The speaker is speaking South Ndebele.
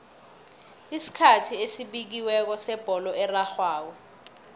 isikhathi esibekiweko sebholo erarhwako